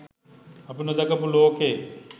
අපි නොදැකපු ලෝකේ